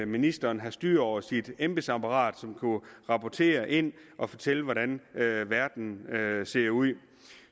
ministeren have styr over sit embedsapparat som kunne rapportere ind og fortælle hvordan verden ser ud